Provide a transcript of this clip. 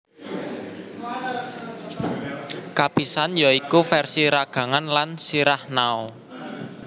Kapisan ya iku versi ragangan lan sirah Nao